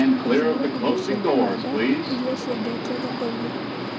Thura indo cia kũhanda iria ciendetwo thokoinĩ